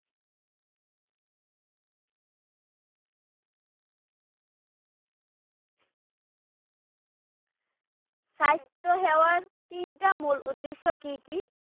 স্বাস্থ্য সেৱাৰ তিনিটা মূল উদ্দেশ্য কি কি?